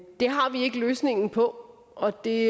det har vi ikke løsningen på og det